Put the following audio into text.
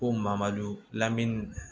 Ko mamadu lamini